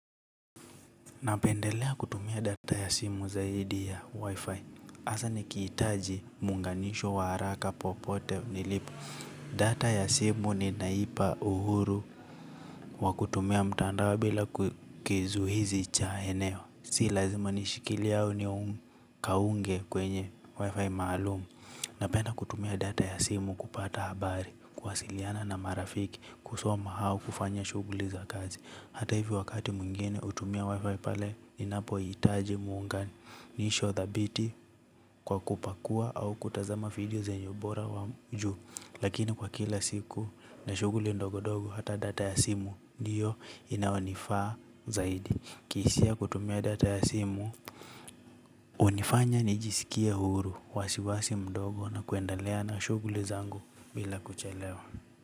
Napendelea kutumia data ya simu zaidi ya wifi hasaa nikihitaji muunganisho wa haraka popote nilipo. Data ya simu ni naipa uhuru kwa kutumia mtandao bila kizuizi cha eneo. Si lazima nishikilie au nikaunge kwenye wifi maalumu. Napenda kutumia data ya simu kupata habari kuwasiliana na marafiki kusoma au kufanya shughuli za kazi. Hata hivyo wakati mwingine hutumia wifi pale ninapohitaji muunganisho dhabiti kwa kupakua au kutazama video zenye ubora wa juu. Lakini kwa kila siku na shughuli ndogondogo hata data ya simu ndiyo inayonifaa zaidi. Kihisia kutumia data ya simu hunifanya nijisikie huru wasiwasi mdogo na kuendelea na shughuli zangu bila kuchelewa.